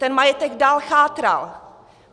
Ten majetek dál chátral.